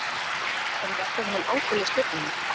En verður hann áfram með Stjörnuna?